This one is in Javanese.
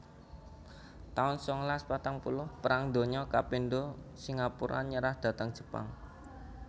taun sangalas patang puluh Perang Donya kapindho Singapura nyerah dhateng Jepang